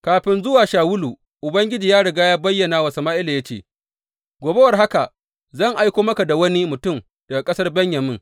Kafin zuwa Shawulu, Ubangiji ya riga ya bayyana wa Sama’ila ya ce, Gobe war haka zan aiko maka da wani mutum daga ƙasar Benyamin.